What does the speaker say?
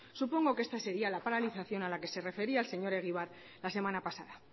supongo que esta sería la paralización a la que se refería el señor egibar la semana pasada